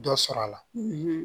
Dɔ sɔrɔ la